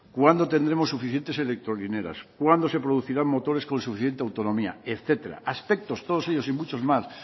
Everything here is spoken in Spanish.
cuándo tendremos suficientes electrolineras cuándo se producirán motores con suficiente autonomía etcétera aspectos todos ellos y muchos más